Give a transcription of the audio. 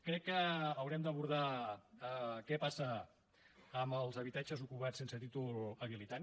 crec que haurem d’abordar què passa amb els habitatges ocupats sense títol habilitant